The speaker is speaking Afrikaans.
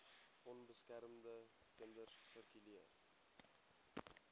onbeskermde kinders sirkuleer